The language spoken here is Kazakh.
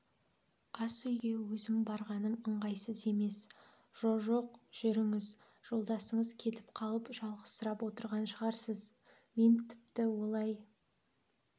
асүйге өзім барғаным ыңғайсыз емес жо-жоқ жүріңіз жолдасыңыз кетіп қалып жалғызсырап отырған шығарсыз мен тіпті олай